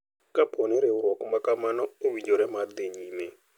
Kapo ni riwruok makamano owinjore mar dhi nyime.